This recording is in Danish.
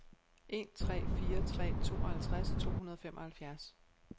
en tre fire tre tooghalvtreds to hundrede og femoghalvfjerds